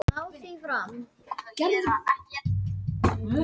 Hugljúf, hvernig er dagskráin í dag?